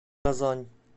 казань